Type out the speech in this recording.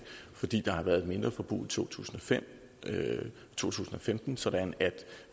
fordi der har været et mindreforbrug i to tusind tusind og femten sådan at